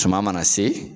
Suman mana se